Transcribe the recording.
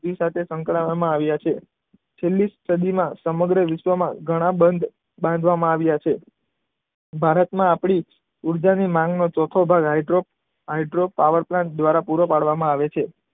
સાથે સંકળાયવામાં આવ્યા છે. છેલ્લી સદીના સમગ્ર વિશ્વમાં ઘણા બંધ બાંધવામાં આવ્યા છે. ભારતમાં આપણી ઊર્જાની ચોથો ભાગ હાઈડ્રો, હાઈડ્રો પાવર પ્લાન્ટ દ્વારા પૂરો પાડવામાં આવે છે.